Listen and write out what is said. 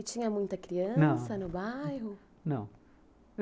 E tinha muita criança no bairro? não.